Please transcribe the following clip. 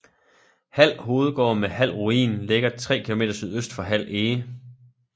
Hald Hovedgård med Hald Ruin ligger 3 km sydvest for Hald Ege